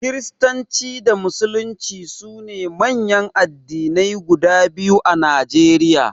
Kiristanci da Musulunci su ne manyan addinai guda biyu a Najeriya.